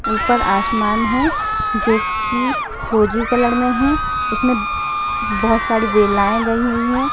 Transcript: ऊपर आसमान है जो की फिरोजी कलर में है जिसमे बहुत सारी वेलाइयी गयी हुई है।